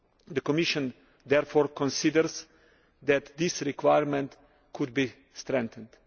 The Commission therefore considers that this requirement could be strengthened.